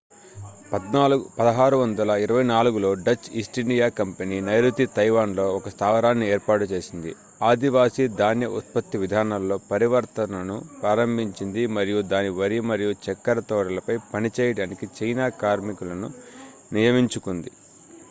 1624లో Dutch East India company నైరుతి Taiwan లో ఒక స్థావరాన్ని ఏర్పాటు చేసింది ఆదివాసీ ధాన్య ఉత్పత్తి విధానాల్లో పరివర్తనను ప్రారంభించింది మరియు దాని వరి మరియు చక్కెర తోటలపై పనిచేయడానికి చైనా కార్మికులను నియమించుకుంది